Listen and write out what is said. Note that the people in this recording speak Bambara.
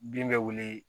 Bin bɛ wele